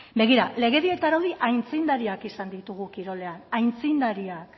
begira legedi eta araudi aitzindariak izan ditugu kirolean aitzindariak